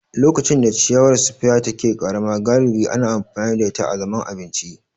Lokacin da ciyawar spear take ƙarama, galibi ana amfani da ita azaman abinci.